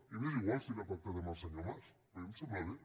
i m’és igual si l’ha pactat amb el senyor mas a mi em sembla bé